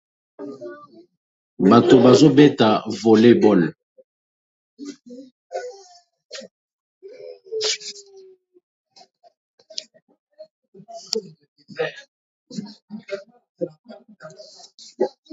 Bato bazo beta Volebol